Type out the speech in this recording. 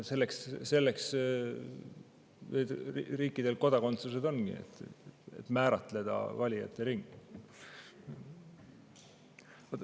Selleks riikidel kodakondsus ongi, et määratleda valijate ringi.